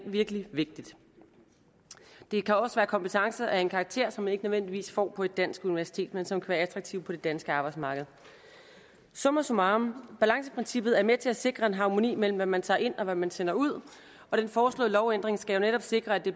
virkelig vigtigt det kan også være kompetencer af en karakter som man ikke nødvendigvis får på et dansk universitet men som kan være attraktive på det danske arbejdsmarked summa summarum balanceprincippet er med til at sikre en harmoni imellem hvad man tager ind og hvad man sender ud og den foreslåede lovændring skal jo netop sikre at det